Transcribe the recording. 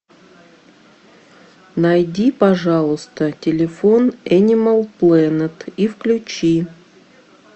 найди пожалуйста телефон энимал плэнет и включи